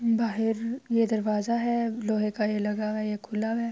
بہار یہ دروازہ ہے، لوہے کا یہ لگا ہوا ہے۔ یہ خلا ہے۔